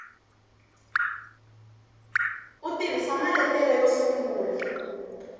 u tirhisa maletere yo sungula